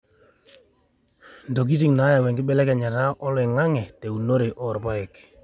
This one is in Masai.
intokitin naayau enkibelekenyata oloing'ang'e teunore oorpaek